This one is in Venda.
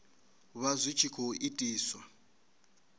vha zwi tshi khou itiswa